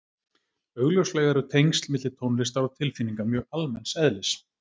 Augljóslega eru tengsl milli tónlistar og tilfinninga mjög almenns eðlis.